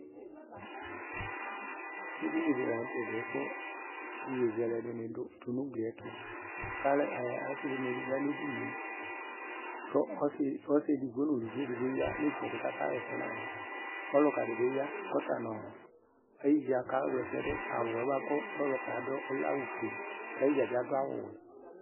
eɗɩnɩ ɛɗɩ lanʊtɛ ƙʊ ɩƴozɛlɛ tʊnʊ ʊglɩƴɛtʊ asɩɗɩnɩ aƴanʊ eɗɩgnŋe ƙʊ ɔsɩ eɗɩgɓo nʊ ʊlʊʋɩ eɗɩgɓo aƴanʊ ɩtsɛɗɩ ƙʊ aƙawla ɛsɛɗʊ ɔlʊƙaɗɩƴa aƴɩɗjaɓɩ ɔƴa mɛ aƙawla ɛsɛɗʊ awʊƴɛ ɔlʊƙɛ aɗʊƴɛ ɔlɛ ofʊe aƴɩɗja aɗʊ awʊ ɔwɛ